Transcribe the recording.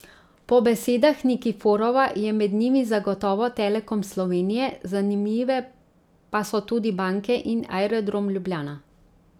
Po besedah Nikiforova je med njimi zagotovo Telekom Slovenije, zanimive pa so tudi banke in Aerodrom Ljubljana.